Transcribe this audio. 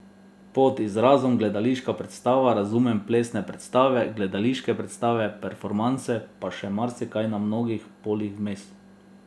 Pod izrazom gledališka predstava razumem plesne predstave, gledališke predstave, performanse pa še marsikaj na mnogih poljih vmes.